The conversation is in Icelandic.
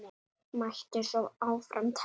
Mætti svo áfram telja.